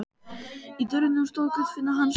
Í dyrunum stóð Guðfinna hans Jóns.